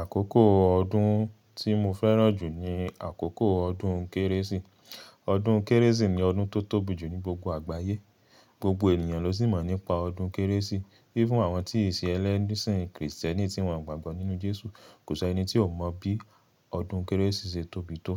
Àkókò ọdún tí mo fẹ́ràn jù ni àkókò ọdún kérésì. Ọdún kérésì ni ọdún tó tóbi jù ní gbogbo àgbáyé. Gbogbo ènìyàn ló sì mọ̀ nípa ọdún kérésì. Even àwọn tí ì ṣe ẹlẹ́sìn krìstẹ́nì tí wọn gbàgbọ́ nínú Jésù, kò ṣi ẹni tí ò mọ̀ bí ọdún kérésì ṣe tóbi tó.